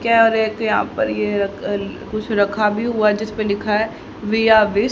क्या रैक यहां पर ये कल कुछ रखा भी हुआ है जिस पे लिखा है विश--